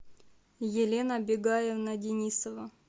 елена бегаевна денисова